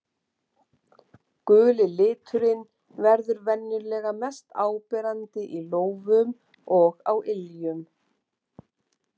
Guli liturinn verður venjulega mest áberandi í lófum og á iljum.